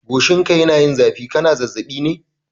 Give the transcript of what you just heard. Goshinka yana yin zafi, kana zazzaɓi ne?